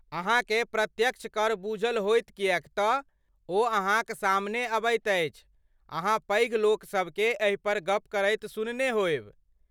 अहाँकेँ प्रत्यक्ष कर बूझल होयत किएक तऽ ओ अहाँक सामने आबैत अछि, अहाँ पैघ लोकसभकेँ एहि पर गप करैत सुनने होयब।